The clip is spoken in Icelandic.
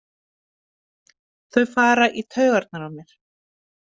Þau fara í taugarnar á mér.